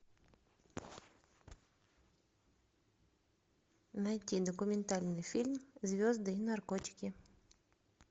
найти документальный фильм звезды и наркотики